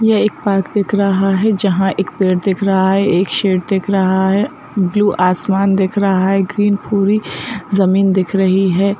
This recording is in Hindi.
ये एक पार्क दिख रहा है जहां एक पेड़ दिख रहा है एक शेड दिख रहा है ब्लू आसमान दिख रहा है ग्रीन पूरी जमीन दिख रही है।